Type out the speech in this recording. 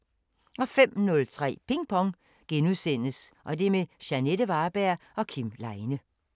05:03: Ping Pong – med Jeanette Varberg og Kim Leine *